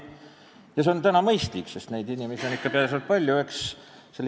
Ja nii on mõistlik teha, sest neid inimesi on tõenäoliselt ikka palju.